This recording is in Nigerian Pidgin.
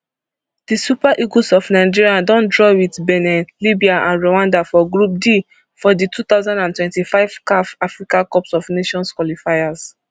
di super eagles of nigeria don draw wit benin libya and rwanda for group d for di two thousand and twenty-five caf africa cup of nations qualifiers